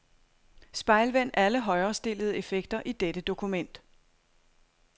Spejlvend alle højrestillede effekter i dette dokument.